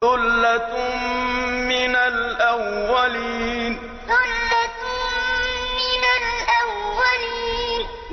ثُلَّةٌ مِّنَ الْأَوَّلِينَ ثُلَّةٌ مِّنَ الْأَوَّلِينَ